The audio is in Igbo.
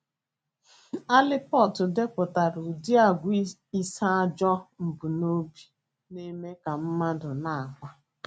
Allport depụtara ụdị àgwà ise ajọ mbunobi na - eme ka mmadụ na - akpa.